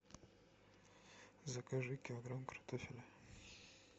закажи килограмм картофеля